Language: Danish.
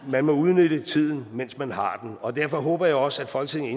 man må udnytte tiden mens man har den og derfor håber jeg også at folketinget